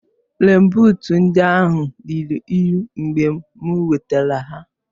Rèèn buut ndị ahụ ruru unyi mgbe m wetara ha